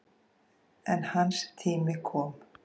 En hans tími kom.